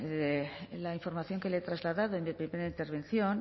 la información que le he trasladado en mi pequeña intervención